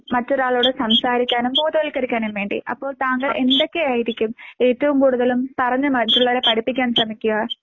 മറ്റൊരാളോട് സംസാരിക്കാനും ബോധവൽക്കരിക്കാനും വേണ്ടി അപ്പോൾ താങ്കൾ എന്തൊക്കെ ആയിരിക്കും ഏറ്റവും കൂടുതലും പറഞ്ഞ് മറ്റുള്ളവരെ പഠിപ്പിക്കാൻ ശ്രമിക്കുക?